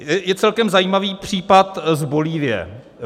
Je celkem zajímavý případ z Bolívie.